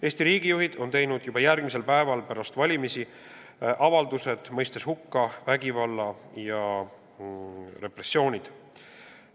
Eesti riigijuhid tegid juba valimistele järgnenud päeval avaldused, milles mõistsid hukka vägivalla ja repressioonid.